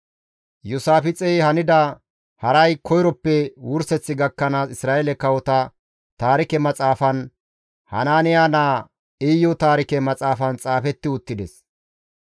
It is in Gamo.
Iyoosaafixey hanida haray koyroppe wurseth gakkanaas Isra7eele kawota Taarike Maxaafan, Hanaaniya naa Iyu Taarike maxaafan xaafetti uttides.